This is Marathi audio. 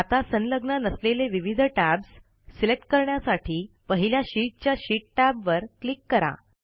आता संलग्न नसलेले विविध टॅब्स सिलेक्ट करण्यासाठी पहिल्या शीटच्या शीट टॅब वर क्लिक करा